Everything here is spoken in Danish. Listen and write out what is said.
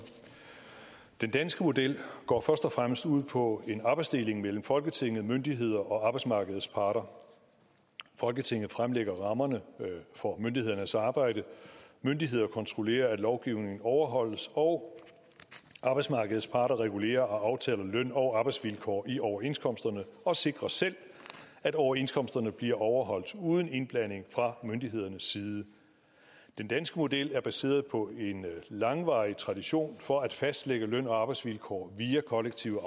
den danske model går først og fremmest ud på en arbejdsdeling mellem folketinget myndigheder og arbejdsmarkedets parter folketinget fremlægger rammerne for myndighedernes arbejde myndighederne kontrollerer at lovgivningen overholdes og arbejdsmarkedets parter regulerer og aftaler løn og arbejdsvilkår i overenskomsterne og sikrer selv at overenskomsterne bliver overholdt uden indblanding fra myndighedernes side den danske model er baseret på en langvarig tradition for at fastlægge løn og arbejdsvilkår via kollektive